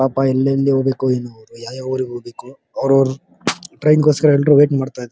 ಪಾಪ ಎಲ್ಲೆಲ್ಲಿ ಹೋಗ್ಬೇಕೋ ಏನೋ ಯಾವ ಯಾವ ಊರಿಗೆ ಹೋಗ್ಬೇಕೋ ಟ್ರೈನ್ ಗೋಸ್ಕರ ಎಲ್ಲರೂ ವೇಟ್ ಮಾಡ್ತಾ ಇದ್ದಾರೆ.